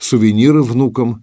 сувениры внукам